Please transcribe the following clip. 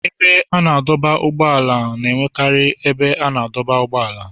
Ebe a na-adọba ụgbọala na-enwekarị ebe a na-adọba ụgbọala.